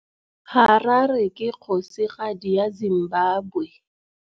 Harare ke kgosigadi ya Zimbabwe.